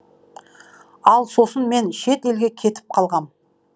ал сосын мен шет елге кетіп қалғам